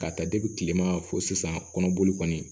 K'a ta kilema fɔ sisan kɔnɔboli kɔni